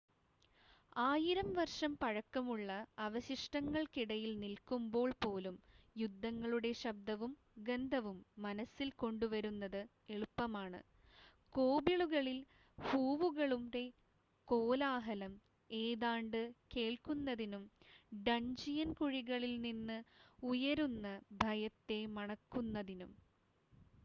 ആയിരം വർഷം പഴക്കമുള്ള അവശിഷ്ടങ്ങൾക്കിടയിൽ നിൽക്കുമ്പോൾ പോലും യുദ്ധങ്ങളുടെ ശബ്ദവും ഗന്ധവും മനസ്സിൽ കൊണ്ടുവരുന്നത് എളുപ്പമാണ് കോബിളുകളിൽ ഹൂവുകളുടെ കോലാഹലം ഏതാണ്ട് കേൾക്കുന്നതിനും ഡൺജിയൻ കുഴികളിൽ നിന്ന് ഉയരുന്ന ഭയത്തെ മണക്കുന്നതിനും